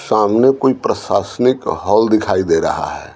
सामने कोई प्रशासनिक हल दिखाई दे रहा है।